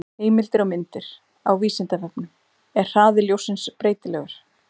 Heimildir og myndir: Á Vísindavefnum: Er hraði ljóssins breytilegur?